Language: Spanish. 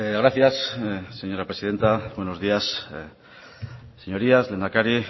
gracias señora presidenta buenos días señorías lehendakari